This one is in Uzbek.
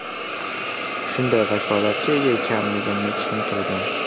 Shunday vakolatga ega ekanligimni tushuntirdim.